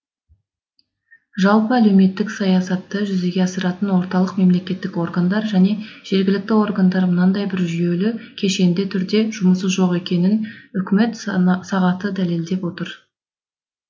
жалпы әлеуметтік саясатты жүзеге асыратын орталық мемлекеттік органдар және жергілікті органдар мынандай бір жүйелі кешенді түрде жұмысы жоқ екенінін үкімет сағаты дәлелдеп отыр